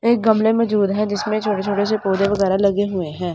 एक गमले में हैं जिसमें छोटे छोटे से पौधे वगैरा लगे हुए हैं।